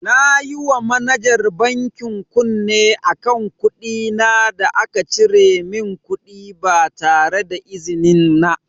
Nayi wa manajar bankin kunne akan kuɗina da aka cire min kuɗi ba tareda izinin na.